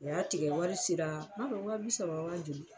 O y'a tigɛ wari sera ,m'a dɔn waa bi saba waa joli ?